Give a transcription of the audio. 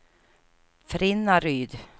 Frinnaryd